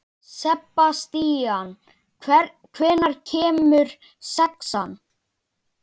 Sebastían, hvenær kemur sexan?